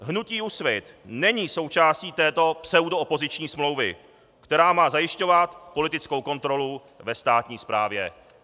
Hnutí Úsvit není součástí této pseudoopoziční smlouvy, která má zajišťovat politickou kontrolu ve státní správě.